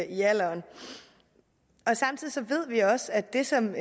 i alderen og samtidig ved vi også at det som